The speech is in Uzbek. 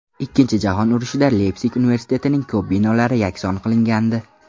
Ikkinchi jahon urushida Leypsig universitetining ko‘p binolari yakson qilingandi.